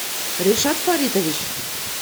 решат фаритович